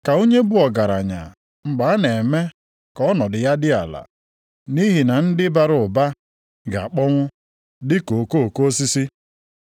Ka onye bụ ọgaranya mgbe a na-eme ka ọ nọdụ ya dị ala, nʼihi na ndị bara ụba ga-akpọnwụ dị ka okoko osisi.